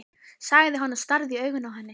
sagði hann og starði í augun á henni.